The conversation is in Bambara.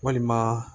Walima